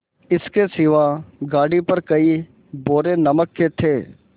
इसके सिवा गाड़ी पर कई बोरे नमक के थे